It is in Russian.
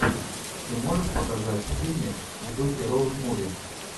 ты можешь показать фильмик в духе роуд муви